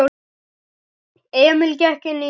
Emil gekk inní stofu.